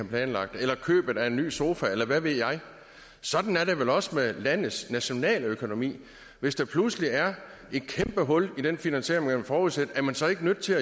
planlagt eller købet af en ny sofa eller hvad ved jeg sådan er det vel også med landets nationaløkonomi hvis der pludselig er et kæmpe hul i den finansiering man forudsætter er man så ikke nødt til